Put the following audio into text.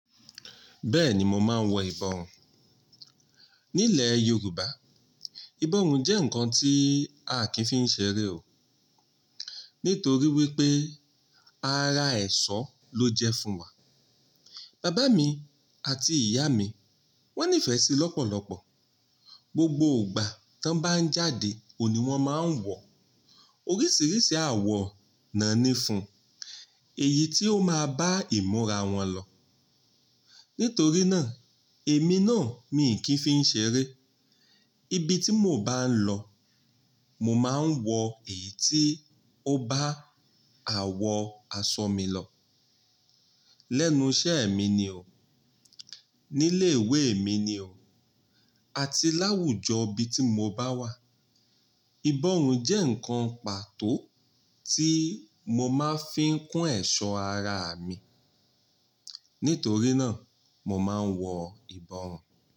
Bẹ́ẹ̀ni mo máa ń wọ ìbọrùn. Nílẹ̀ Yorùbá, ìbọrùn jẹ́ ǹkan tí a kìí fi ń ṣeré o. Nítorí wípé, ara ẹ̀ṣọ́ ló jẹ́ fún wa. Bàbá mi àti ìyá mi wọ́n nífẹ̀ẹ́ sí lọ́pọ̀lọpọ̀. Gbogbo ìgbà tọ́n bá ń jáde oní wọn máa ń wọ, oríṣiríṣi àwọ̀ náà ní fún, èyí ti ó máa bá ìmúra wọn lọ. Nítorí náà, èmi náà mi kìí fi ń ṣeré. Ibi tí mo bá ń lọ, mo máa ń wọ èyí ti o bá àwọ̀ aṣọ mi lọ. Lẹ́nu iṣẹ́ mi ni o, nílé ìwé mi ni o, àti láwùjọ ibi tí mo bá wà, ìbọrùn jẹ́ ǹkan pàtó tí mo máa fi ń kún ẹ̀ṣọ́ ara mi. Nítorí náà, mo máa ń wọ ìbọrùn.